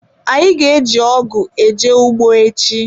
Anyi ga-eji ogu eje ugbo echi.